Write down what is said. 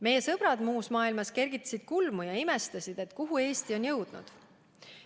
Meie sõbrad muus maailmas kergitasid kulmu ja imestasid, kuhu Eesti on jõudnud.